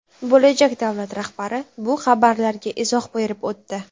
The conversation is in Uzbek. Bo‘lajak davlat rahbari bu xabarlarga izoh berib o‘tdi.